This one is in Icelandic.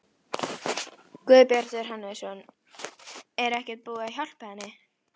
Guðbjartur Hannesson: Er ekkert búið að hjálpa henni?